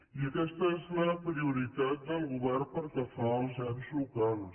i aquesta és la prioritat del govern pel que fa als ens locals